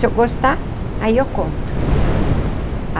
Se eu gostar, aí eu conto.